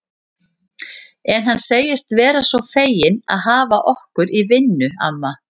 En hann segist vera svo feginn að hafa okkur í vinnu, amma